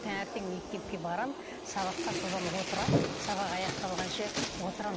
таңертең мектепке барамын сабаққа содан отырамын сабақ аяқталғанша отырамын